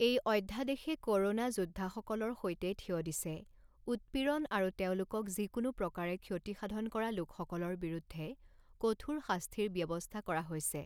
এই অধ্যাদেশে corona যোদ্ধাসকলৰ সৈতে থিয় দিছে, উৎপীড়ন আৰু তেওঁলোকক যিকোনো প্ৰকাৰে ক্ষতি সাধন কৰা লোকসকলৰ বিৰুদ্ধে কঠোৰ শাস্তিৰ ব্যৱস্থা কৰা হৈছে।